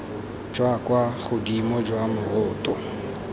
jwa kwa godimo jwa moroto